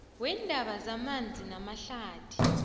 weendaba zamanzi namahlathi